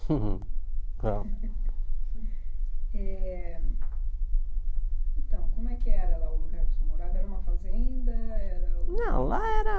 Huhum É então, como é que era o lugar que o senhor morava? Era uma fazenda era Não lá era